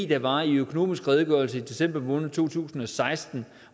der var i økonomisk redegørelse i december måned to tusind og seksten